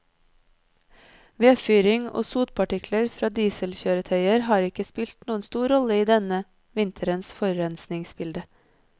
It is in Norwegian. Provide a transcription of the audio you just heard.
Vedfyring og sotpartikler fra dieselkjøretøyer har ikke spilt noen stor rolle i denne vinterens forurensningsbilde.